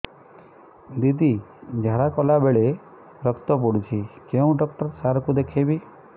ଦିଦି ଝାଡ଼ା କଲା ବେଳେ ରକ୍ତ ପଡୁଛି କଉଁ ଡକ୍ଟର ସାର କୁ ଦଖାଇବି